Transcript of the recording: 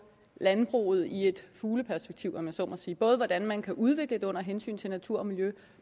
landbruget i et fugleperspektiv om jeg så må sige både hvordan man kan udvikle det under hensyn til natur og miljø